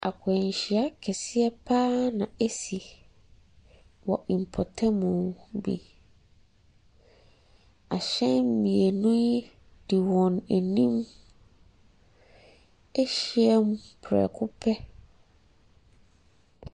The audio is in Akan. Akwanhyia kɛseɛ paa na ɛsi wɔ npatamu bi. Ahyɛn mmienu de wɔn anim ɛhyia mu prɛko pɛ.